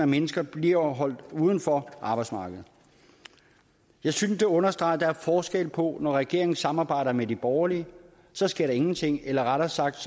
mennesker bliver holdt uden for arbejdsmarkedet jeg synes det understreger at der er forskel på når regeringen samarbejder med de borgerlige så sker der ingenting eller rettere sagt